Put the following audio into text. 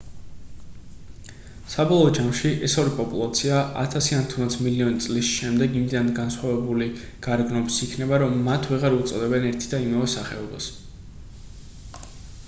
საბოლოო ჯამში ეს ორი პოპულაცია ათასი ან თუნდაც მილიონი წლის შემდეგ იმდენად განსხვავებული გარეგნობის იქნება რომ მათ ვეღარ უწოდებენ ერთი და იმავე სახეობას